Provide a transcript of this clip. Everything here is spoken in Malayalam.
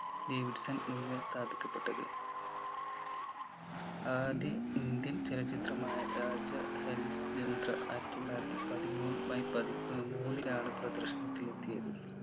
ഡേവിഡ്സൺ എന്ന് സ്ഥാപിക്കപ്പെട്ടത്. ആദ്യ ഇന്ത്യൻ ചലച്ചിത്രമായ രാജാ ഹരിശ്ചന്ദ്ര ആയിരത്തിത്തൊള്ളായിരത്തി പതിമൂന്ന് മെയ് പതിമൂ ഏർ മൂന്നിനാണ് പ്രദർശനത്തിന് എത്തിയത്